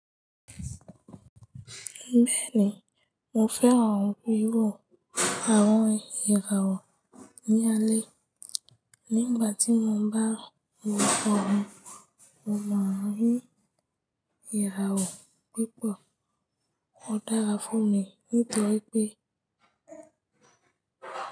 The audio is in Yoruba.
Bẹ́ẹ̀ni mo fẹ́ràn wíwò àwọn ìràwọ̀ ní alẹ́. Nígbàtí mo bá wo ojú ọ̀run mo máa rí ìràwọ̀ púpọ̀. Ó dára fún mi nítorí pé.